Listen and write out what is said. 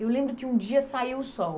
Eu lembro que um dia saiu o sol.